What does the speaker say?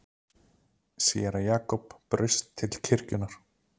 Séra Jakob braust til kirkjunnar.